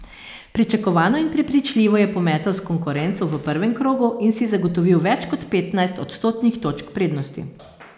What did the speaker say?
Pričakovano in prepričljivo je pometel s konkurenco v prvem krogu in si zagotovil več kot petnajst odstotnih točk prednosti.